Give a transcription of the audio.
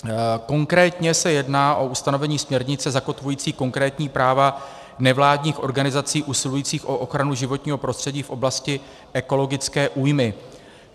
Konkrétně se jedná o ustanovení směrnice zakotvující konkrétní práva nevládních organizací usilujících o ochranu životního prostředí v oblasti ekologické újmy.